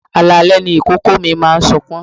Alalẹ́ ni ìkòkò mi máa ń sọkún.